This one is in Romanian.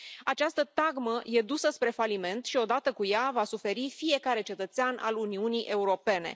Această tagmă e dusă spre faliment și odată cu ea va suferi fiecare cetățean al Uniunii Europene.